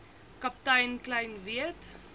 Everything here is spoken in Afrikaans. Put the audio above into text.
kaptein kleyn weet